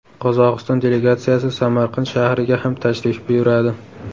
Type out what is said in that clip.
Qozog‘iston delegatsiyasi Samarqand shahriga ham tashrif buyuradi.